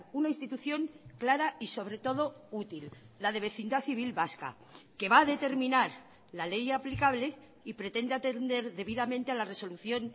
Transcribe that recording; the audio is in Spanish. una institución clara y sobre todo útil la de vecindad civil vasca que va a determinar la ley aplicable y pretende atender debidamente a la resolución